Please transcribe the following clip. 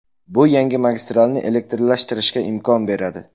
Bu yangi magistralni elektrlashtirishga imkon beradi.